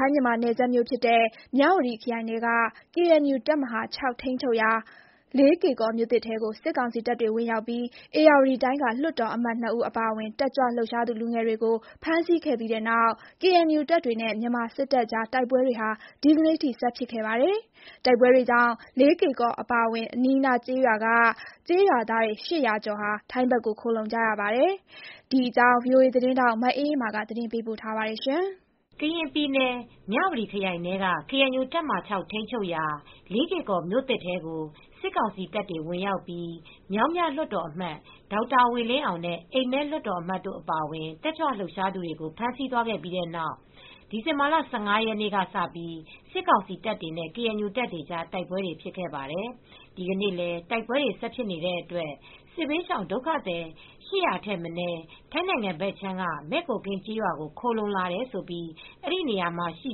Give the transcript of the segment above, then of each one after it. ိုင်းမြန်မာနယ်စပ် မြဝတီခရိုင်ထဲက ကေအန်ယူတပ်မဟာ ထိန်းချုပ်ရာ လေးကေကော်မြို့ သစ်ထဲကို စစ်ကောင်စီတပ်တွေဝင်ရောက်ပြီး ဧရာဝတီတိုင်းက လွှတ်တော်အမတ် ၂ ဦးအပါအဝင် တက်ကြွလှုပ်ရှားသူလူငယ်တွေကို ဖမ်းဆီးခဲ့ပြီးတဲ့နောက် ကေအန်ယူတပ်တွေနဲ့ မြန်မာစစ်တပ်ကြားတိုက်ပွဲတွေ ဒီနေ့ထိ ဆက်ဖြစ်ခဲ့ပါတယ်။ တိုက်ပွဲတွေကြောင့် လေးကေ့ကော်အပါအဝင် အနီးအနား ကျေးရွာတွေက ကျေးရွာသား ၈၀၀ ကျော် ထိုင်းဘက်ကို ခိုလှုံလာကြပါတယ်။ ဒီအကြောင်း ထိုင်းအခြေစိုက် ဗွီအိုအေသတင်းထောက် မအေးအေးမာက သတင်းပေးပို့ထားပါတယ်။ ကရင်ပြည်နယ် မြဝတီခရိုင်ထဲက ကေအန်ယူတပ်မဟာ ထိန်းချုပ်ရာ လေးကေ့ကော်မြို့သစ် ထဲကို စစ်ကောင်စီတပ်တွေဝင်ရောက်ပြီး မြောင်းမြလွှတ်တော်အမတ် ဒေါက်တာဝေလင်းအောင်နဲ့ အိမ်မဲလွှတ်တော်အမတ်တို့ အပါအဝင် တက်ကြွလှုပ်ရှားသူတွေကို ဖမ်းဆီးသွားခဲ့ပြီးတဲ့နောက် ဒီဇင်ဘာလ ၁၅ ရက်နေ့ကစပြီး စစ်ကောင်စီတပ်တွေနဲ့ ကေအန်ယူတပ်တွေကြား တိုက်ပွဲတွေဖြစ်ခဲ့ပါတယ်။ ဒီကနေ့လည်း တိုက်ပွဲတွေဆက်ဖြစ်နေတဲ့အတွက် စစ်ဘေးရှောင်ဒုက္ခသည် ၈၀၀ ထက်မနည်း ထိုင်းနိုင်ငံဘက်ခြမ်းက မဲ့ကိုကင်းကျေးရွာကို ခိုလှုံလာတယ်လို့ အဲဒီနေရာမှာရှိ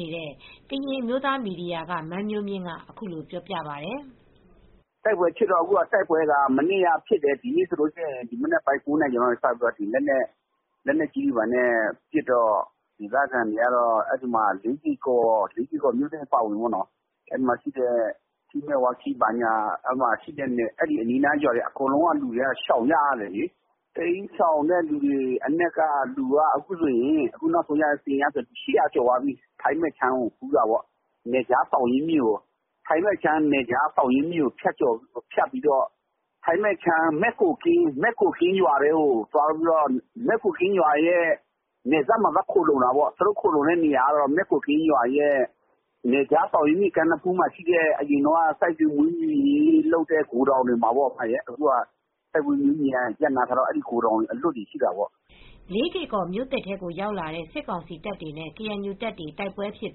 နေတဲ့ ကရင်အမျိုးသားမီဒီယာက မန်းမျိုးမြင့်ကပြောပါတယ်။ “တိုက်ပွဲဖြစ်တာ မနေ့ကလည်းဖြစ်တယ်။ ဒီနေ့ကျတော့လည်း မနက် ၉ နာရီကျော်ကတည်းက လက်နက်ကြီးနဲ့ပစ်နေတော့ လေးကေ့ကော်မြို့သစ်အပါအဝင် မယ်ဝါခီးအပါအဝင် အဲဒီနားကကျေးရွာတွေက အကုန်လုံးရှောင်ကြရတယ်လေ။ တိ်မ်းရှောင်တဲ့လူတွေက အခုဆိုရင် ၈၀၀ ကျော် သွားပြီ။ ထိုင်းဘက်ကို သောင်းရင်းမြစ်ကိုဖြတ်ပြီးသွားတယ်။ ထိုင်းဘက်က မဲ့ကိုကင်းရွာ နယ်စပ်မှာ သွားခိုလှုံတယ်။ သူတို့အခုနေနေတာကတော့ မယ့်ကိုကင်းရွာရဲ့စိုက်ပျိုးရေးမွေးမြူရေးလုပ်နေတဲ့ ဂိုဒေါင်နေရာမှာပေါ့နော်။ စိုက်ပျိုးမွေးမြူရေး ရပ်နားထားတော့ ဂိုဒေါင်အလွတ်တွေမှာလေ။” လေးကေကော်မြို့သစ်ထဲကိုဝင်ရောက်လာတဲ့ စစ်ကောင်စီတပ်တွေနဲ့ ကေအဲန်ယူတပ်တို့ တိုက် ပွဲတွေဖြစ်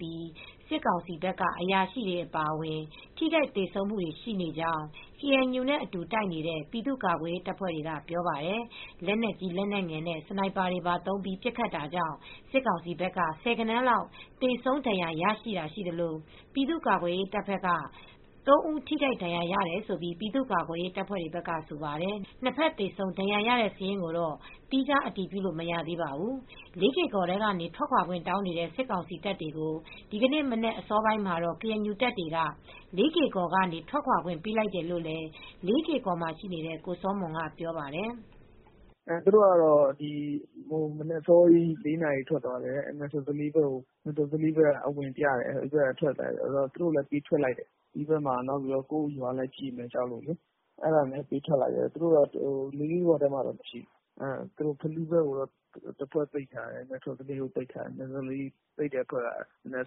ပြီး စစ်ကောင်စီဘက်က အရာရှိတွေအပါအဝင် ထိခိုက်သေဆုံးမူတွေရှိနေကြောင်း ကေအန်ယူနဲ့အတူ တိုက်နေတဲ့ ပြည်သူ့ကာကွယ်ရေးတပ်ဖွဲ့တွေက ပြောပါတယ်။ လက်နက်ကြီးလက်နက်ငယ်နဲ့ စနိုက်ပါတွေသုံးပြီး ပစ်ခတ်တာကြောင့် စစ်ကောင်စီတပ်က ဆယ်ဂဏန်းလောက် သေဆုံး ဒဏ်ရာရတာတွေရှိသလို ပြည်သူ့ ကာကွယ်ရေးတပ်က ၃ ဦး ထိခိုက်ဒဏ်ရာရတယ် လို့ ပြည်သူ့ကာကွယ်ရေးတပ်ဖွဲ့တွေဘက်ကဆိုပါတယ်။ နှစ်ဘက် သေဆုံးဒဏ်ရာရတဲ့ စာရင်းကိုတော့ သီးခြား အတည်ပြုလို့ မရသေးပါဘူး။ လေးကေ့ကော်ထဲကနေ ထွက်ခွါခွင့်တောင်းနေတဲ့ စစ်ကောင်စီတပ်တွေကို ဒီကနေ့မနက်အစောပိုင်းမှာတော့ KNU တပ်တွေက လေးကေ့ကော်ကနေ ထွက်ခွါခွင့်ပေးလိုက်တယ်လို့လည်း လေးကေ့ကော်မှာရှိနေတဲ့ ကိုစောမွန်က ပြောပြပါတယ်။ “သူတို့ကတော့ မနက်အစောကြီး ၄ နာရီလောက် ထွက်သွားတယ်။ မယ်ထော်သလေးဘက်ကိုအဝင်ပြတယ်။ KNU ကလည်းပေးထွက်လိုက်တယ်။ ဒီဘက်က ကိုယ့်ရွာလည်းကြေမှာ ကြောက် တယ်လေ။ အဲဒါကြောင့်ပေးထွက်လိုက်တယ်။ သူတို့ လေးကေ့ကော်မှာတော့ မရှိတော့ဘူး။ တဖွဲ့ကတော့ ဖလူးဘက်မှာ ပိတ်ထားတယ်။ တဖွဲ့ကတော့ မဲ့ထော်သလေးဘက်မှာ ပိတ်ထားတယ်။ မဲ့ထော်သလေးဘက်ကအဖွဲ့နဲ့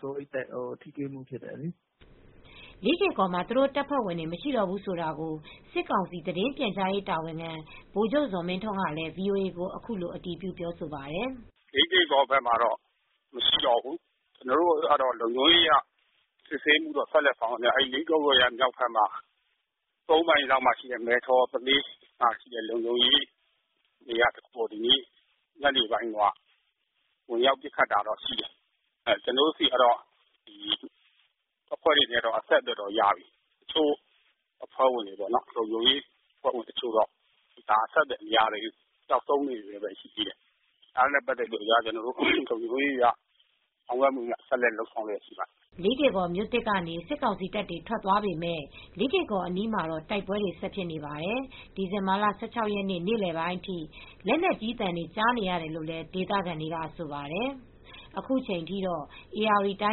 တော့ မနက်အစောကြီးကတည်းက ထိတွေ့မှုဖြစ်တယ်လေ။” လေးကေ့ကော်မှာ သူတို့တပ်ဖွဲ့ဝင်တွေ မရှိတော့ဘူးဆိုတာကို စစ်ကောင်စီ သတင်းပြန်ကြားရေးတာဝန်ခံ ဗိုလ်ချုပ်ဇော်မင်းထွန်းကလည်းဗွီအိုအေကို အခုလို အတည်ပြု ပြောဆိုပါတယ်။ “လေးကေကော်ကတော့ မနေ့က ကျနော်ပြောတဲ့အတိုင်းပဲဗျ။ လေးကေကော်ဘက်မှာတော့ မရှိတော့ဘူး။ ကျနော်တို့ကတော့ လုံခြုံရေးအရ စစ်ဆေးမှုတော့ ဆက်လုပ်မှာပါခင်ဗျ။ အဲဒီ လေးကေကော်ရဲ့မြောက်ဘက်က သုံးမိုင်လောက်မှာရှိတဲ့ မယ်ထော်သလေးမှာရှိတဲ့ လုံခြုံရေးတွေက ညနေပိုင်းတုန်းက ဝင်ရောက်ပစ်ခတ်တာတော့ရှိတယ်။ ကျနော်တို့ဆီက အဖွဲ့တွေနဲ့ကတော့ အဆက်အသွယ်တော့ရပြီ။ လုံခြုံရေးအဖွဲ့ဝင်တချို့တော့ အဆက်အသွယ်မရသေးဘူး။ ပျောက်ဆုံးအနေနဲ့ပဲ ရှိသေးတယ်။ ဒါတွေနဲ့ပတ်သက်လို့ လုံခြုံရေးအရ ဆောင်ရွက်မှုများ ဆက်လက် လုပ်ဆောင်လျှက်ရှိပါတယ်။” လေးကေ့ကော်မြို့သစ်ကနေ စစ်ကောင်စီတပ်တွေ ထွက်သွားပေမယ့် လေးကေ့ကော်အနီးမှာတော့ တိုက်ပွဲတွေဆက်ဖြစ်နေပါတယ်။ ဒီဇင်ဘာလ ၁၆ ရက်နေ့ နေလည်ပိုင်းအထိ လက်နက်ကြီးသံတွေ ကြားနေရတယ်လို့ ဒေသခံတွေကဆိုပါတယ်။ အခုချိန်ထိတော့ ဧရာဝတီတို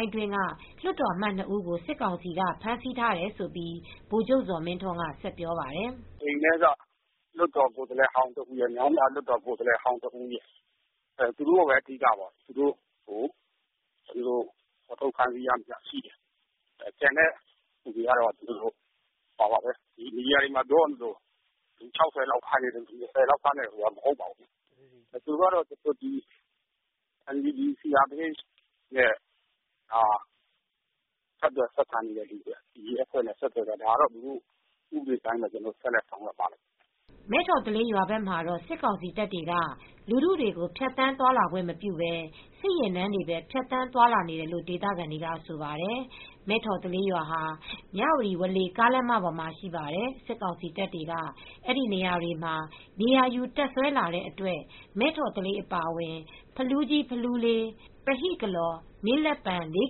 င်းအတွင်းက လွှတ်တော်အမတ် ၂ ဦးကို စစ်ကောင်စီက ဖမ်းဆီးထားတယ်လို့ ဗိုလ်ချုပ်ဇော်မင်းထွန်းက ဆက်ပြောပါတယ်။ “မနေ့က အိမ်မဲက လွှတ်တော်ကိုယ်စားလှယ်ဟောင်းတဦးရယ်၊ မြောင်းမြကိုယ်စားလှယ်ဟောင်းတဦးရယ်။ သူတို့ကိုပဲ အဓိက၊ သူတို့ကို ဖော်ထုတ် ဖမ်းဆီးရမိတာရှိတယ်။ ကျန်တဲ့သူတွေကတော့ မီဒီယာတွေမှာပြောသလို လူ ၆၀ လောက် ဖမ်းတယ်တို့၊ လူ ၂၀ လောက်ဖမ်းတယ်တို့ဆိုတာ မဟုတ်ပါဘူး။ သူတို့ကတော့ NUG, CRPH တို့နဲ့ ဆက်သွယ်၊ ဆက်ဆံနေတဲ့သူတွေ။ ဒါကတော့ ဥပဒေအတိုင်းပဲ ကျနော်တို့ ဆက်လက်ဆောင်ရွက်ပါမယ်။” မဲ့ထော်သလေးရွာဘက်မှာတော့ စစ်ကောင်စီတပ်တွေက လူထုကို ဖြတ်သန်းသွားလာခွင့်မပြုဘဲ စစ်ယာဉ်တန်းတွေပဲ ဖြတ်သန်းသွားလာနေတယ်လို့ ဒေသခံတွေကဆိုပါတယ်။ မဲ့ထော်သလေးရွာဟာ မြဝတီ ဝေါလေကားလမ်းမပေါ်မှာရှိပါတယ်။ စစ်ကောင်စီတပ်တွေက အဲဒီနေရာတွေမှာ နေရာယူတပ်စွဲလာတဲ့အတွက် မဲ့ထော်သလေးအပါအဝင် ဖလူးကြီး၊ ဖလူးလေး၊ ပဟိကလော်၊ မင်းလက်ပံ၊ လေး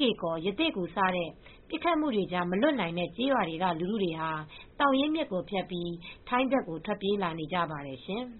ကေ့ကော်၊ ရသေ့ဂူ စတဲ့ ပစ်ခတ်မှုတွေကြား မလွတ်နိုင်တဲ့ကျေးရွာတွေက ဒေသခံပြည်သူတွေဟာ သောင်ရင်းမြစ်ကိုဖြတ်ပြီး ထိုင်းဘက်ကို ထွက်ပြေးလာနေကြပါတယ်ရှင်။